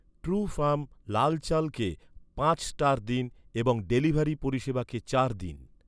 Trufarm লাল চালকে পাঁচ স্টার দিন এবং ডেলিভারি পরিষেবাকে চার দিন৷